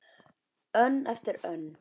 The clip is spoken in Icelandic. Önn eftir önn.